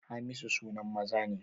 Hamisu sunan maza ne